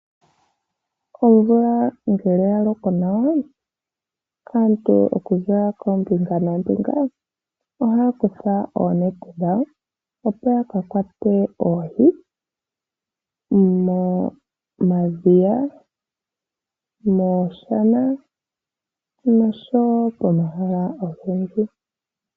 Omvula ngele ya loko nawa, aantu okuza koombinga noombinga ohaya kutha oonete dhawo, opo ya ka kwate oohi momadhiya, miishana noshowo pomahala ogendji.